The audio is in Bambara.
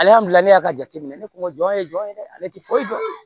y'a jate minɛ ne kun jɔn ye jɔn ye dɛ ale tɛ foyi dɔn